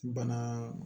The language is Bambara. Bana